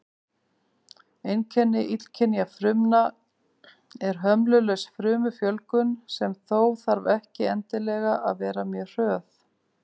Einkenni illkynja frumna er hömlulaus frumufjölgun, sem þó þarf ekki endilega að vera mjög hröð.